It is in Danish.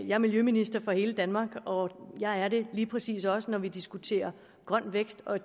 er miljøminister for hele danmark og jeg er det lige præcis også når vi diskuterer grøn vækst og